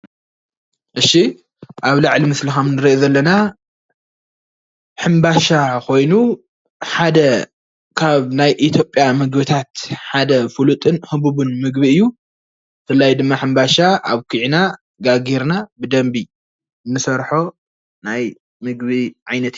እሺ ኣብ ላዕሊ ምስሊ ከም ንሪኦ ዘለና ሕምባሻ ኮይኑ ሓደ ካብ ናይ ኢትዮጵያ ምግቢታት ሓደ ፍሉጥን ህቡብን ምግቢ እዩ ብፍላይ ድማ ሕምባሻ ኣብኪዕና ጋጊርና ብደንቢ ንሰርሖ ናይ ምግቢ ዓይነት እዩ።